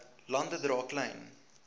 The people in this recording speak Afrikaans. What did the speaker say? lande dra klein